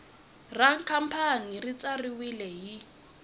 ra khampani ri tsariwile hi